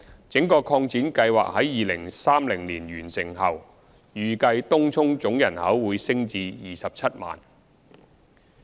整個擴展計劃於2030年完成後，預計東涌總人口會升至約 270,000。